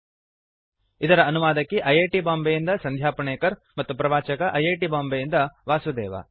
httpspoken tutorialorgNMEICT Intro ಇದರ ಅನುವಾದಕಿ I I T Bombay ಯಿಂದ ಸಂಧ್ಯಾ ಪುಣೇಕರ್ ಮತ್ತು ಪ್ರವಾಚಕ ಐ ಐ ಟಿ ಬಾಂಬೆಯಿಂದ ವಾಸುದೇವ